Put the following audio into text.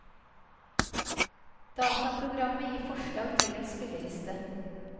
Dataprogrammet gir forslag til en spilleliste.